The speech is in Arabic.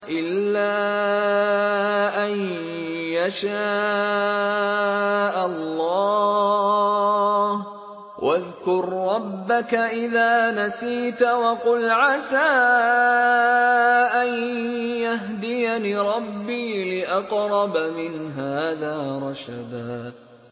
إِلَّا أَن يَشَاءَ اللَّهُ ۚ وَاذْكُر رَّبَّكَ إِذَا نَسِيتَ وَقُلْ عَسَىٰ أَن يَهْدِيَنِ رَبِّي لِأَقْرَبَ مِنْ هَٰذَا رَشَدًا